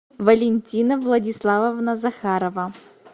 валентина владиславовна захарова